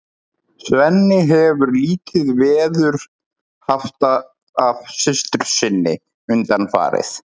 Svenni hefur lítið veður haft af systur sinni undanfarið.